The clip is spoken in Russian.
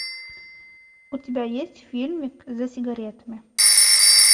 у тебя есть фильмик за сигаретами